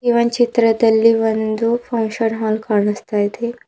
ಈ ಒಂದ್ ಚಿತ್ರದಲ್ಲಿ ಒಂದು ಫಂಕ್ಷನ್ ಹಾಲ್ ಕಾಣುಸ್ತಾ ಇದೆ.